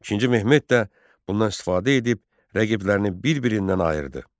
İkinci Mehmet də bundan istifadə edib rəqiblərini bir-birindən ayırdı.